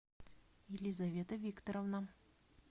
елизавета викторовна